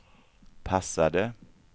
passade